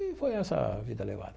E foi essa vida levada.